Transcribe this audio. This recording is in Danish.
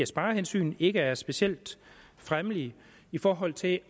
sparehensyn ikke er specielt fremmelige i forhold til at